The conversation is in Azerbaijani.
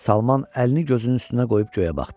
Salman əlini gözünün üstünə qoyub göyə baxdı.